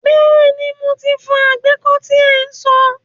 Bẹ́ẹ̀ni, mo ti fọ àgbékó tí ẹ so.